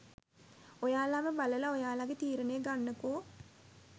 ඔයාලම බලලා ඔයාලගේ තීරණය ගන්නකො..